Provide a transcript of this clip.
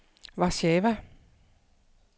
Warszawa